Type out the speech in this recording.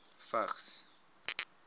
vigs